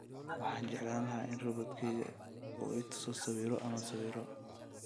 Waxaan jeclahay in robot-kayga uu i tuso sawirro ama sawirro